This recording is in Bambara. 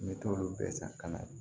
N bɛ t'olu bɛɛ san ka na